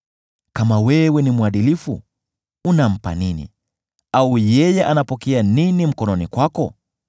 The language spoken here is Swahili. Kama wewe ni mwadilifu, unampa nini, au yeye anapokea nini mkononi kwako?